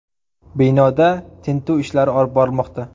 Binoda tintuv ishlari olib borilmoqda.